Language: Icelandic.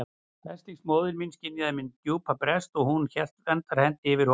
Veslings móðir mín skynjaði minn djúpa brest og hún hélt verndarhendi yfir honum.